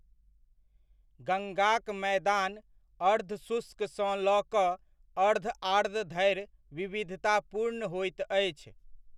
गंगाक मैदान अर्धशुष्क सँ लऽ कऽ अर्धआर्द्र धरि विविधतापूर्ण होइत अछि।